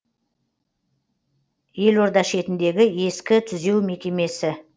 елорда шетіндегі ескі түзеу мекемесі